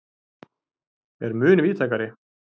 er mun víðtækari.